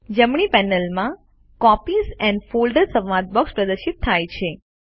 જમણી પેનલ પર copies and folders સંવાદ બોક્સ પ્રદર્શિત થાય છે